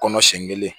Kɔnɔ siɲɛ kelen